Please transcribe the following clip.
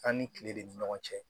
An ni kile de ni ɲɔgɔn cɛ